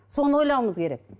соны ойлауыңыз керек